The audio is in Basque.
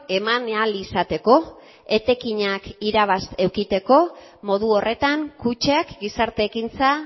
eman ahal izateko etekinak irabaz edukitzeko modu horretan kutxak gizarte ekintza